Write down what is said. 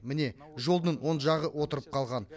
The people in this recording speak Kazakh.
міне жолдың оң жағы отырып қалған